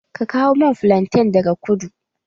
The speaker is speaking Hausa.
Ka kawo min filaten daga kudu!